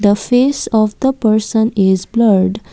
the face of the person is blurred.